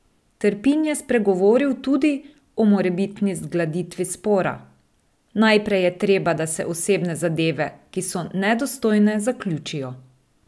Trpin je spregovoril tudi o morebitni zgladitvi spora: "Najprej je treba, da se osebne zadeve, ki so nedostojne, zaključijo.